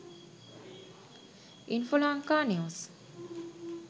infolanka news